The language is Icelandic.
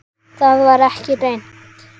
Það var ekki reynt.